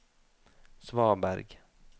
svaberg